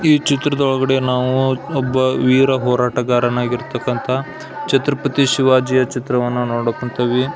ಈ ಚಿತ್ರದ ಒಳಗಡೆ ನಾವು ಒಬ್ಬ ವೀರ ಹೋರಾಟಗಾರ ನಾಗಿರತಕ್ಕ್ನಥ ಛತ್ರಪತಿ ಶಿವಾಜಿ ಚಿತ್ರವನ್ನು ನೋಡಕ್ ಹೊಂಥಿವಿ --